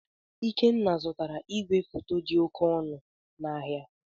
Ikenna zụtara igwefoto dị oke ọnụ n'ahịa.